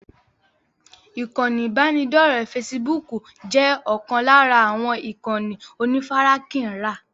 Ikán ibanidọ̀rẹ́ "fésííbùùkù" jẹ́ ọ̀kan lára àwọn ìkànnì onífarakínra.